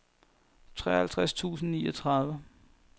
treoghalvtreds tusind og niogtredive